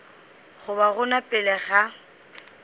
go ba gona pele ga